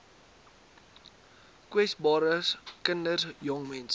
kwesbares kinders jongmense